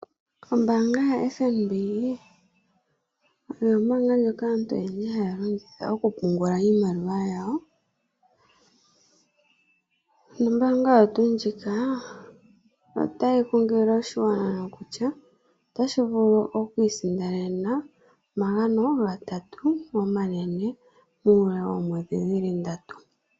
Ombaanga yaFNB oyo ombaanga ndjoka aantu oyendji haya longitha okupungula iimaliwa yawo, nombaanga oyo tuu ndjika otayi kunkilile oshigwana nokutya otashi vulu oku isindanena omagano gatatu omanene muule woomwedhi dhili ndatu.